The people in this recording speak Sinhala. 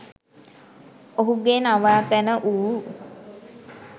ඔහුගේ නවාතැන වූ